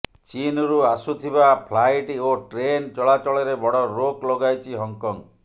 ଚୀନରୁ ଆସୁଥିବା ଫ୍ଲାଇଟ୍ ଓ ଟ୍ରେନ୍ ଚଳାଚଳରେ ବଡ଼ ରୋକ ଲଗାଇଛି ହଂକଂ